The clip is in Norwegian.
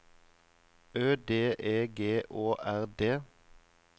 Ø D E G Å R D